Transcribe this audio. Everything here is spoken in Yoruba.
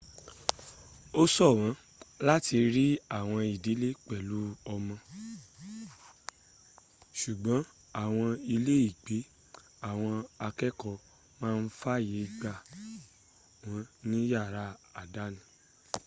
ósọ̀wọ́n láti rí àwọn ìdílé pẹ̀lú ọmọ ṣùgbọ́n àwọn iléègbé àwọn akẹ́ẹ̀kọ́ máa ń fàyè gbà wọn ní yàrá àdáni